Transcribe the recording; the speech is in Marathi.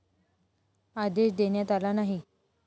आदेश देण्यात आला नाही.